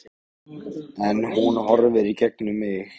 En hún horfir í gegnum mig